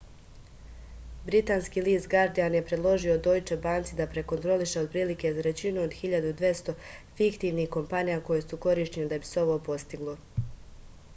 britanski list gardijan je predložio dojče banci da prekontroliše otprilike trećinu od 1200 fiktivnih kompanija koje su korišćene da bi se ovo postiglo